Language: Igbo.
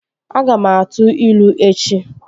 Aga m a tuu ilu echi